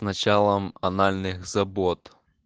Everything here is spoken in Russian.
началом анальных забот